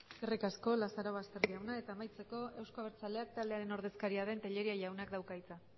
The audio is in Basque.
eskerrik asko lazarobaster jauna eta amaitzeko euzko abertzaleak taldearen ordezkaria den tellería jaunak dauka hitza